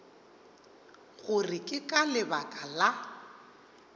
gore ke ka lebaka la